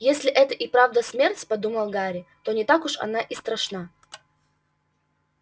если это и правда смерть подумал гарри то не так уж она и страшна